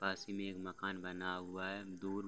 पास ही में एक मकान बना हुआ है दूर --